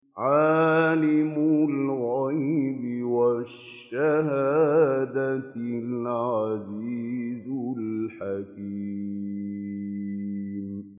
عَالِمُ الْغَيْبِ وَالشَّهَادَةِ الْعَزِيزُ الْحَكِيمُ